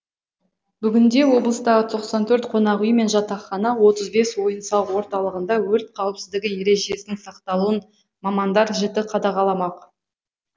бүгінде облыстағы тоқсан төрт қонақүй мен жатахана отыз бес ойын сауық орталығында өрт қауіпсіздігі ережесінің сақталуын мамандар жіті қадағаламақ